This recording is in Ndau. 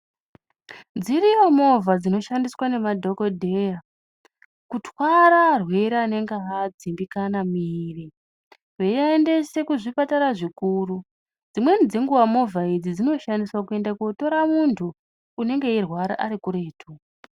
Dziriyo movha dzinoshandiswa nemadhokodheya kutwara arwerere anenge avadzimbikana muviri veivaendesa kuzvipatara zvikuru dzimweni dzenguwa movha idzi dzinoshandiswa kuenda kotora muntu anenge eirwara Ari kuretu.